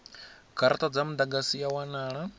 garata dza mudagasi ya wanala